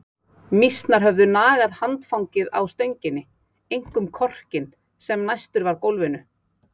Mýsnar höfðu nagað handfangið á stönginni, einkum korkinn sem næstur var gólfinu.